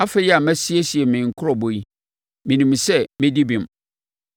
Afei a masiesie me nkurobɔ yi, menim sɛ mɛdi bem.